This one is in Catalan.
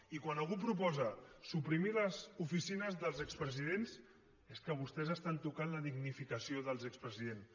i quan algú proposa suprimir les oficines dels expresidents és que vostès toquen la dignificació dels expresidents